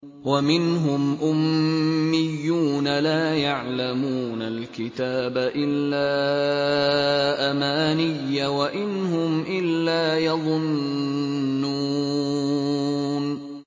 وَمِنْهُمْ أُمِّيُّونَ لَا يَعْلَمُونَ الْكِتَابَ إِلَّا أَمَانِيَّ وَإِنْ هُمْ إِلَّا يَظُنُّونَ